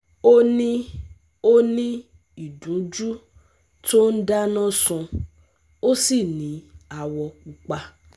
Ó ní Ó ní ìdunjú tó ń dáná sun, ó sì ní awọ pupa